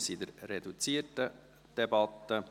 Wir befinden uns in einer reduzierten Debatte.